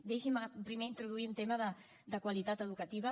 deixi’m primer introduir un tema de qualitat educativa